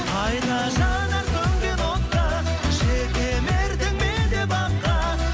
қайта жанар сөнген от та жетелердім мен де баққа